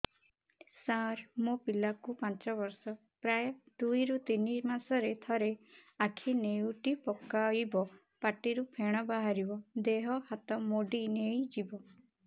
ସାର ମୋ ପିଲା କୁ ପାଞ୍ଚ ବର୍ଷ ପ୍ରାୟ ଦୁଇରୁ ତିନି ମାସ ରେ ଥରେ ଆଖି ନେଉଟି ପକାଇବ ପାଟିରୁ ଫେଣ ବାହାରିବ ଦେହ ହାତ ମୋଡି ନେଇଯିବ